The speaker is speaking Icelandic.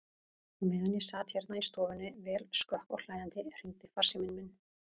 Á meðan ég sat hérna í stofunni, vel skökk og hlæjandi, hringdi farsíminn minn.